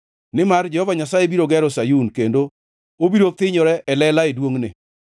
Nimar Jehova Nyasaye biro gero Sayun kendo obiro thinyore e lela e duongʼne.